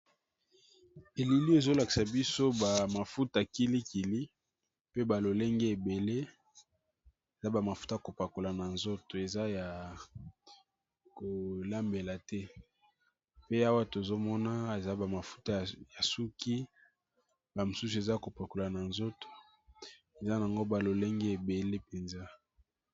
Elili oyo ezo lakisa biso kilikili eza ba mafuta ya kopakola eza ya kolamba te